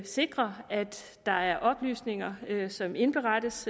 sikre at der er oplysninger som indberettes